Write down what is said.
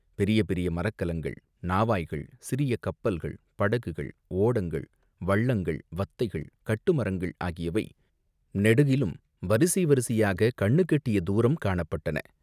பெரிய பெரிய மரக்கலங்கள், நாவாய்கள், சிறிய கப்பல்கள், படகுகள், ஓடங்கள், வள்ளங்கள், வத்தைகள், கட்டுமரங்கள் ஆகியவை நெடுகிலும் வரிசை வரிசையாகக் கண்ணுக்கெட்டிய தூரம் காணப்பட்டன.